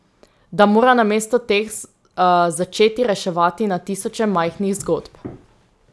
Da mora namesto teh začeti reševati na tisoče majhnih zgodb.